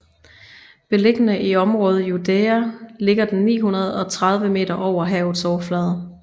Beliggende i området Judaea ligger den 930 m over havets overflade